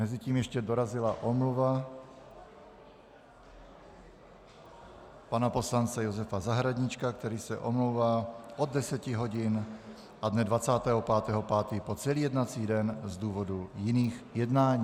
Mezitím ještě dorazila omluva pana poslance Josefa Zahradníčka, který se omlouvá od 10 hodin a dne 25. 5. po celý jednací den z důvodu jiných jednání.